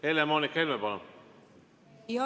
Helle-Moonika Helme, palun!